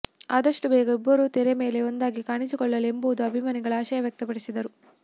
ಅದಷ್ಟು ಬೇಗ ಇಬ್ಬರು ತೆರೆ ಮೇಲೆ ಒಂದಾಗಿ ಕಾಣಿಸಿಕೊಳ್ಳಲಿ ಎಂಬುವುದು ಅಭಿಮಾನಿಗಳು ಆಶಯ ವ್ಯಕ್ತಪಡಿಸಿದ್ದಾರೆ